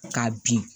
K'a bin